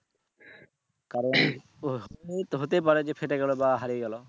কারণ ওই তো হতে পারে যে ফেটে গেলো বা হারিয়ে গেলো।